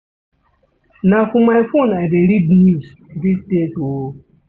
Na for my phone I dey read news dese days o.